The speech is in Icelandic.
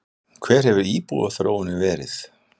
Hver hefur íbúaþróunin verið?